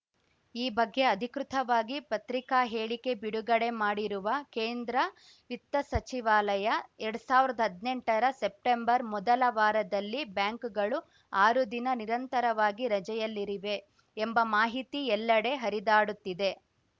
ಈ ಬಗ್ಗೆ ಅಧಿಕೃತವಾಗಿ ಪತ್ರಿಕಾ ಹೇಳಿಕೆ ಬಿಡುಗಡೆ ಮಾಡಿರುವ ಕೇಂದ್ರ ವಿತ್ತ ಸಚಿವಾಲಯ ಎರಡ್ ಸಾವಿರ್ದಾ ಹದ್ನೆಂಟರ ಸೆಪ್ಟೆಂಬರ್‌ ಮೊದಲ ವಾರದಲ್ಲಿ ಬ್ಯಾಂಕ್‌ಗಳು ಆರು ದಿನ ನಿರಂತರವಾಗಿ ರಜೆಯಲ್ಲಿರಿವೆ ಎಂಬ ಮಾಹಿತಿ ಎಲ್ಲೆಡೆ ಹರಿದಾಡುತ್ತಿದೆ